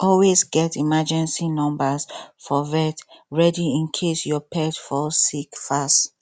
always get emergency numbers for vet ready in case your pet fall sick fast